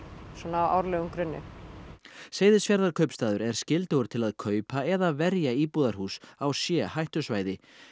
á árlegum grunni Seyðisfjarðarkaupstaður er skyldugur til að kaupa eða verja íbúðarhús á c hættusvæði